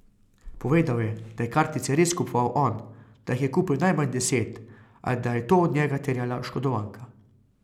Povedal je, da je kartice res kupoval on, da jih je kupil najmanj deset, a da je to od njega terjala oškodovanka.